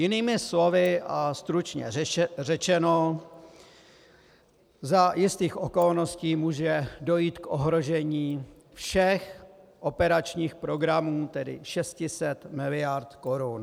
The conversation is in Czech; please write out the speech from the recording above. Jinými slovy a stručně řečeno: za jistých okolností může dojít k ohrožení všech operačních programů, tedy 600 miliard korun.